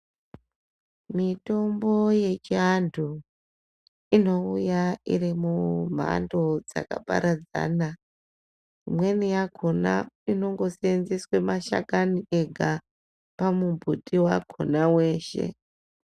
Mitombo yechianthu inouya iri mumhando dzakaparadzana imweni yakona inongoseenzeswe mashakani akona pamumbuti wakona weshe.